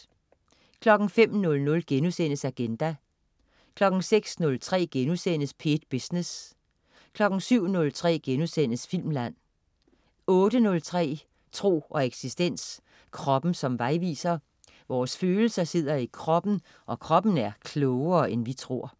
05.00 Agenda* 06.03 P1 Business* 07.03 Filmland* 08.03 Tro og eksistens. Kroppen som vejviser. Vores følelser sidder i kroppen, og kroppen er klogere, end vi tror